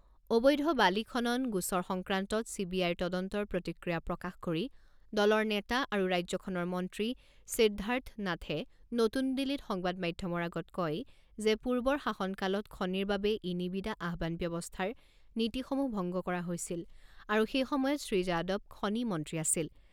অবৈধ বালি খনন গোচৰ সংক্ৰান্তত চি বি আইৰ তদন্তৰ প্ৰতিক্ৰিয়া প্ৰকাশ কৰি দলৰ নেতা আৰু ৰাজ্যখনৰ মন্ত্ৰী সিদ্ধাৰ্থ নাথে নতুন দিল্লীত সংবাদ মাধ্যমৰ আগত কয় যে পূৰ্বৰ শাসনকালত খনিৰ বাবে ই নিবিদা আহ্বান ব্যৱস্থাৰ নীতিসমূহ ভংগ কৰা হৈছিল আৰু সেই সময়ত শ্ৰী যাদৱ খনি মন্ত্ৰী আছিল।